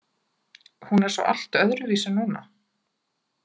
Hún er svo allt öðruvísi núna.